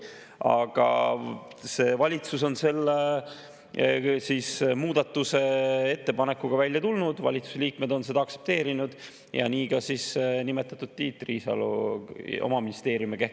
Aga see valitsus on selle muudatusettepanekuga välja tulnud, valitsuse liikmed on seda aktsepteerinud, samuti nimetatud Tiit Riisalo oma ministeeriumiga.